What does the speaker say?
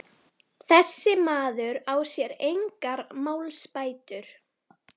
Fréttamaður: Hver tekur við?